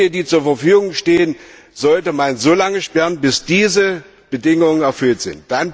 Die zur Verfügung stehenden Mittel sollte man so lange sperren, bis diese Bedingungen erfüllt sind.